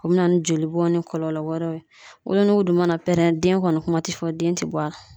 O bɛ na ni joli bɔn ni kɔlɔlɔ wɛrɛ ye, wolonugu dun mana pɛrɛn den kɔni kuma ti fɔ den ti bɔ a la.